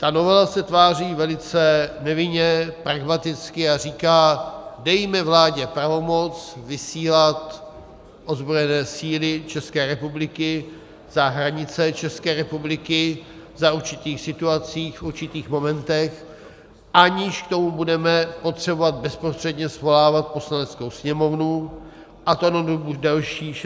Ta novela se tváří velice nevinně, pragmaticky a říká: Dejme vládě pravomoc vysílat ozbrojené síly České republiky za hranice České republiky za určitých situací, v určitých momentech, aniž k tomu budeme potřebovat bezprostředně svolávat Poslaneckou sněmovnu, a to na dobu delší 60 dnů.